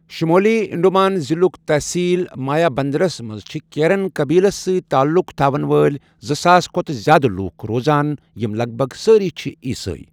شُمٲلی انڈمان ضِلعُک تٔحصیل مایابندرَس منٛز چھِ کیرن قٔبیلَس سۭتۍ تعلُق تھاوَن وٲلۍ زٕ ساس کھۄتہٕ زِیٛادٕ لوٗکھ روزان، یِم لَگ بَگ سٲری چھِ عیسٲے۔